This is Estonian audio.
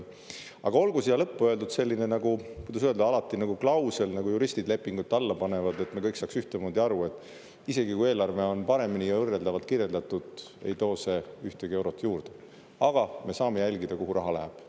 Aga olgu siia lõppu öeldud selline, kuidas öelda, klausel, nagu juristid lepingute alla panevad, et me kõik saaks ühtemoodi aru: isegi kui eelarve on paremini ja võrreldavalt kirjeldatud, ei too see ühtegi eurot juurde, aga me saame jälgida, kuhu raha läheb.